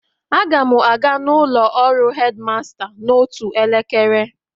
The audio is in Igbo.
Aga m aga n'ụlọ ọrụ headmaster n'otu elekere